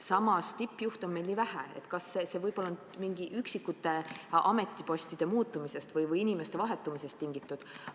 Samas, tippjuhte on meil nii vähe, et see näitaja võib olla mingite üksikute ametipostide muutumisest või inimeste vahetumisest tingitud.